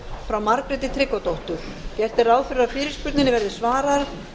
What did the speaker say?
frá margréti tryggvadóttur gert er ráð fyrir að fyrirspurninni verði svarað